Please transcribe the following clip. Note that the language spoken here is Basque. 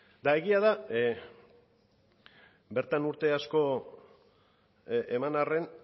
eta egia da bertan urte asko eman arren